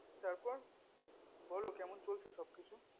তার পর বোলো কেমন চলছে সব কিছু